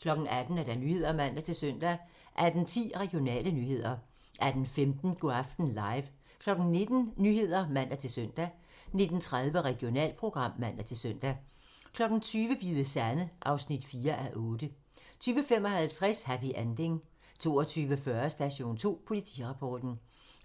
18:00: Nyhederne (man-søn) 18:10: Regionale nyheder 18:15: Go' aften live 19:00: Nyhederne (man-søn) 19:30: Regionalprogram (man-søn) 20:00: Hvide Sande (4:8) 20:55: Happy Ending 22:40: Station 2: Politirapporten